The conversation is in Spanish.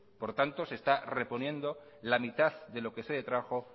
por tanto se está reponiendo la mitad de lo que se detrajo